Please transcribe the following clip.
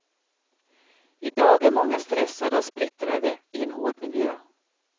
I dag är många stressade och splittrade i en hård miljö.